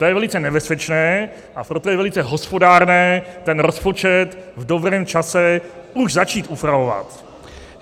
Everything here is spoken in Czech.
To je velice nebezpečné, a proto je velice hospodárné ten rozpočet v dobrém čase už začít upravovat.